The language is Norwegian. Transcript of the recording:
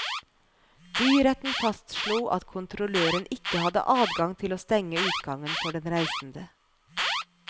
Byretten fastslo at kontrolløren ikke hadde adgang til å stenge utgangen for den reisende.